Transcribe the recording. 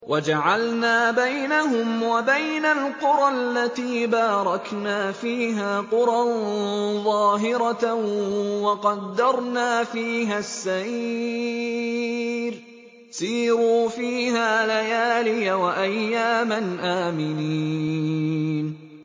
وَجَعَلْنَا بَيْنَهُمْ وَبَيْنَ الْقُرَى الَّتِي بَارَكْنَا فِيهَا قُرًى ظَاهِرَةً وَقَدَّرْنَا فِيهَا السَّيْرَ ۖ سِيرُوا فِيهَا لَيَالِيَ وَأَيَّامًا آمِنِينَ